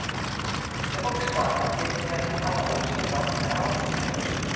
Þegar fólk stamar getur það ekki talað ósjálfrátt eða áreynslulaust.